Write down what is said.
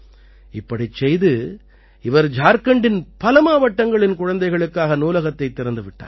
இப்படிச் செய்து இவர் ஜார்க்கண்டின் பல மாவட்டங்களின் குழந்தைகளுக்காக நூலகத்தைத் திறந்து விட்டார்